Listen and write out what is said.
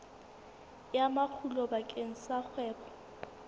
ya makgulo bakeng sa kgwebo